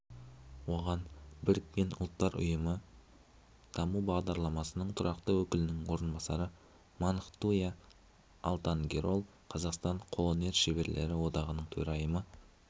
оған біріккен ұлттар ұйымы даму бағдарламасының тұрақты өкілінің орынбасары мунхтуя алтангерел қазақстан қолөнер шеберлері одағының төрайымы